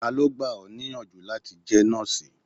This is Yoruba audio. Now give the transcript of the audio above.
Ta ló gbà ọ níyànjú láti jẹ́ nọ́ọ̀sì?